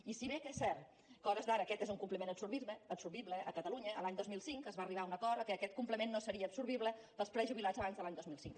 i si bé és cert que a hores d’ara aquest és un complement absorbible a catalunya l’any dos mil cinc es va arribar a un acord que aquest complement no seria absorbible per als prejubilats abans de l’any dos mil cinc